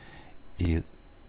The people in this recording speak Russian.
и